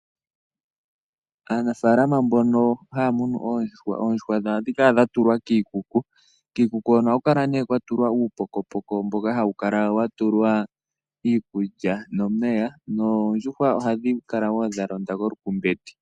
Aanafalama mbono haya munu oondjuhwa ohadhi kala dhatulwa kiikuku. Kiikuku ohaku kala kuna uupokopoko mboka wuna iikulya nomeya noondjuhwa ohadhi kala dhalonda kolukumbeti.